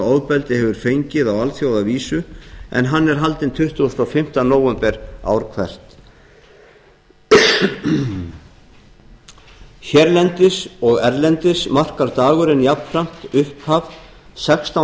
ofbeldi hefur fengið á alþjóðavísu en hann er haldinn tuttugasta og fimmta nóvember ár hvert hérlendis og erlendis markar dagurinn jafnframt upphaf sextán